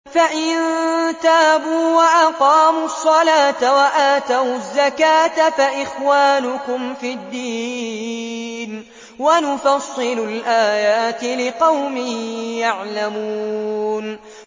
فَإِن تَابُوا وَأَقَامُوا الصَّلَاةَ وَآتَوُا الزَّكَاةَ فَإِخْوَانُكُمْ فِي الدِّينِ ۗ وَنُفَصِّلُ الْآيَاتِ لِقَوْمٍ يَعْلَمُونَ